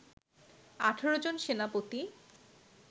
১৮ জন সেনাপতি